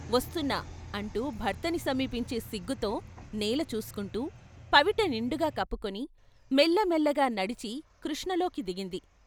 వస్తున్నా " అంటూ భర్తని సమీపించే సిగ్గుతో నేల చూసుకుంటూ, పవిట నిండుగా కప్పుకొని మెల్లమెల్లగా నడిచి కృష్ణలోకి దిగింది.